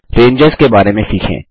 ranges के बारे में सीखें